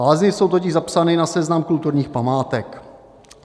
Lázně jsou totiž zapsané na seznam kulturních památek.